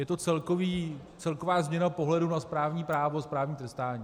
Je to celková změna pohledu na správní právo, správní trestání.